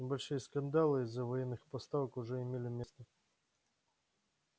небольшие скандалы из-за военных поставок уже имели место